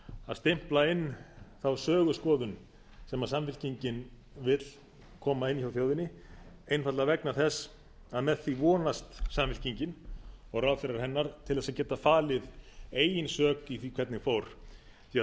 að stimpla inn þá söguskoðun sem samfylkingin vill koma inn hjá þjóðinni einfaldlega vegna þess að með því vonast samfylkingin og ráðherrar hennar til þess að geta falið eigin sök í því hvernig fór því að